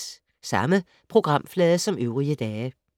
Samme programflade som øvrige dage